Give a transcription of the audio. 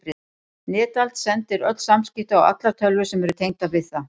Netald sendir öll samskipti á allar tölvur sem eru tengdar við það.